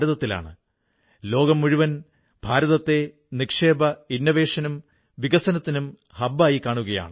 ഇന്ന് രാജ്യമെങ്ങും കുട്ടികൾ ഹോംവർക്ക് ചെയ്യുന്നു നേട്ടങ്ങളുണ്ടാക്കുന്നുവെങ്കിൽ അതിന്റെ പിന്നിൽ എവിടെയെങ്കിലുമൊക്കെ പുൽവാമയിലെ ആളുകളുടെ കഠിനാധ്വാനം കൂടിയുണ്ട്